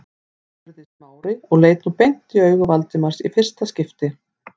spurði Smári og leit nú beint í augu Valdimars í fyrsta sinn.